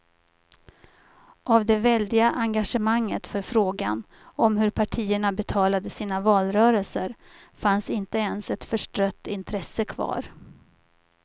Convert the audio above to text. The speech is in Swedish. Av det väldiga engagemanget för frågan om hur partierna betalade sina valrörelser fanns inte ens ett förstrött intresse kvar.